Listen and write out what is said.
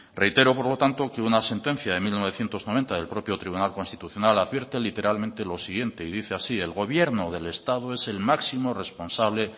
reitero por lo tanto que una sentencia de mil novecientos noventa del propio tribunal constitucional advierte literalmente lo siguiente y dice así el gobierno del estado es el máximo responsable